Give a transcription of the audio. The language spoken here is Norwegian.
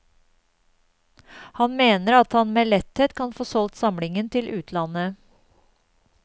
Han mener at han med letthet kan få solgt samlingen til utlandet.